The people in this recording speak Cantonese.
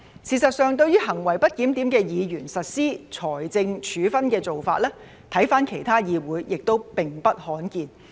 事實上，對於行為不檢點的議員實施財政處分的做法，回看其他議會也並不罕見。